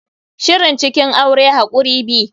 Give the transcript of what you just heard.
Shirin cikin aure hakuri be.